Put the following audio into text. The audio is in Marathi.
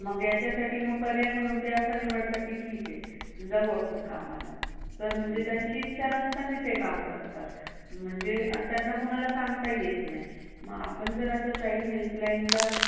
मग याच्यासाठी असं पर्याय म्हणून मग ते निवडतात की ठीक आहे, जाऊ आपण कामाला. तर त्यांची इच्छा नसताना ते काम करतात. म्हणजे आणि त्यांना कोणाला सांगता ही येत नाही. मग आपण जरासा child helpline ला